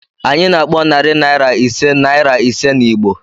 Anyị na-akpọ narị naira ise naịra ise na Igbo.